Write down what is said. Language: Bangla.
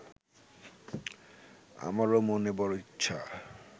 আমারও মনে বড় ইচ্ছা